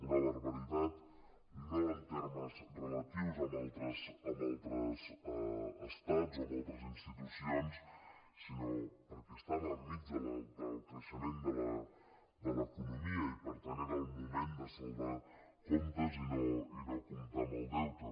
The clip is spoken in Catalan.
una barbaritat no en termes relatius amb altres estats o amb altres institucions sinó perquè estava enmig del creixement de l’economia i per tant era el moment de saldar comptes i no comptar amb el deute